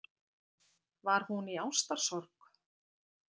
Var hún í ástarsorg?